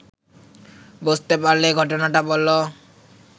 বুঝতে পারলে ঘটনাটা বল